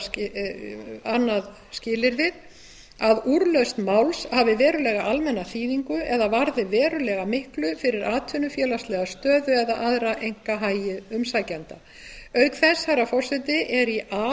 þá annað skilyrðið að úrlausn máls hafi verulega almenna þýðingu eða varði verulega miklu fyrir atvinnu félagslega stöðu eða aðra einkahagi umsækjanda auk þess herra forseti er í a